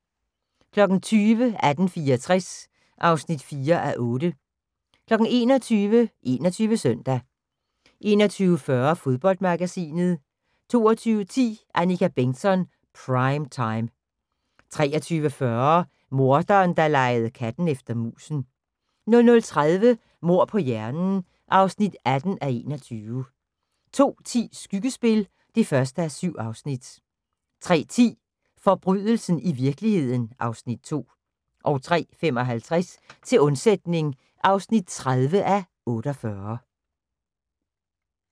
20:00: 1864 (4:8) 21:00: 21 Søndag 21:40: Fodboldmagasinet 22:10: Annika Bengtzon: Prime Time 23:40: Morderen, der legede katten efter musen 00:30: Mord på hjernen (18:21) 02:10: Skyggespil (1:7) 03:10: Forbrydelsen i virkeligheden (Afs. 2) 03:55: Til undsætning (30:48)